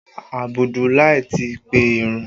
Abudulai ti pe ìrun